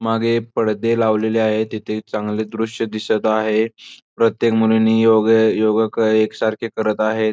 मागे पडदे लावलेले आहेत. तिथे चांगले दृश्य दिसत आहे. प्रत्येक मुलीने योगा योगा एक सारखे करत आहे.